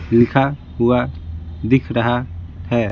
लिखा हुआ दिख रहा है।